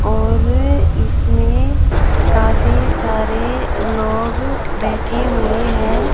और इसमें काफी सारे लोग बैठे हुए हैं।